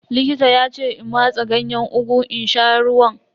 Likita ya ce in matse Ganyen ugu in sha ruwan.